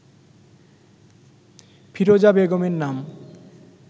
ফিরোজা বেগমের নাম